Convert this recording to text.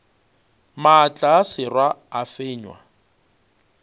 maatla a sera a fenywa